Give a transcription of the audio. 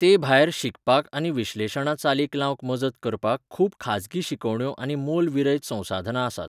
तेभायर, शिकपाक आनी विश्लेशणां चालीक लावंक मजत करपाक खूब खाजगी शिकवण्यो आनी मोलविरयत संसाधनां आसात .